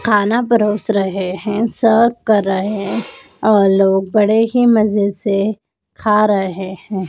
खाना परोस रहे हैं सर्व कर रहे और लोग बड़े ही मजे से खा रहे हैं।